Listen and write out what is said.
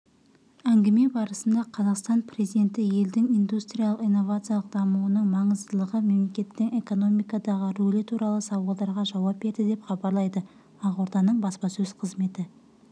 әңгіме барысында қазақстан президенті елдің индустриялық-инновациялық дамуының маңыздылығы мемлекеттің экономикадағы рөлі туралы сауалдарға жауап берді деп хабарлайды ақорданың баспасөз қызметі